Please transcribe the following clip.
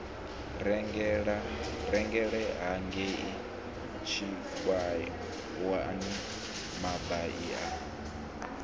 rengele hangei tshikhuwani mabai a